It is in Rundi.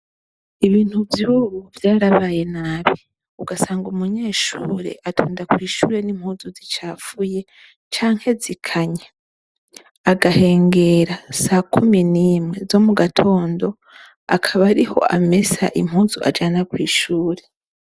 ibintu vyubu vyarabaye nabi ugasanga umunyeshure atonda kw' ishure n'impuzu zicafuye canke zikanya agahengera sa kumi nimwe zo mu gatondo akaba ariho amesa impuzu ajana kw'ishure